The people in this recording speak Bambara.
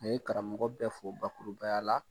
Ni ye karamɔgɔ bɛɛ fɔ bakuruba ya la